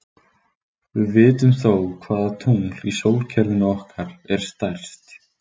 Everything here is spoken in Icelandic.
Við vitum þó hvaða tungl í sólkerfinu okkar er stærst.